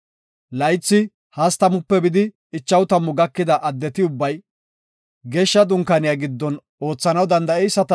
Laythi 30-50 gakida addeti ubbay, Geeshsha Dunkaaniya giddon oothanaw danda7eyisata